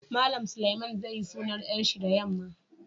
Mallam Suleiman zai yi sunan yar shi da yamma.